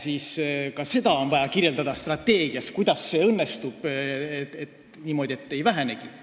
No aga ka seda on vaja strateegias kirjeldada, et kuidas õnnestub niimoodi, et ei vähenegi.